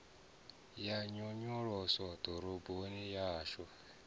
ya nyonyoloso ḓoroboni ya hashu